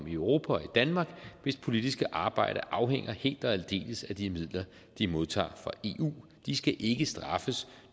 i europa og i danmark hvis politiske arbejde afhænger helt og aldeles af de midler de modtager fra eu de skal ikke straffes